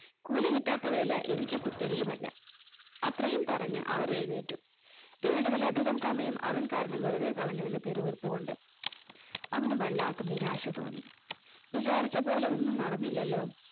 കൂലി കിട്ടാത്തവയല്ല എനിക്ക് പുത്തരിയുമല്ല അത്രയും പറഞ്ഞ അവർ എഴുനേറ്റു പോയി വേണ്ടതിൽ അധികം സമയം അവൻ കാരണം വെറുതെ കളഞ്ഞു എന്ന് പിറുപിറുത്തു കൊണ്ട് അവന്ന് വല്ലാത്ത നിരാശ തോന്നി വിചാരിച്ച പോലെ ഒന്നും നടന്നില്ലാലോ